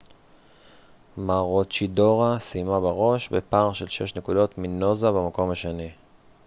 מרוצ'ידורה סיימה בראש בפער של שש נקודות מנוזה במקום השני